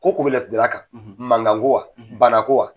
Ko ko bɛ laturudala kan . Mankan ko wa ? Bana ko wa?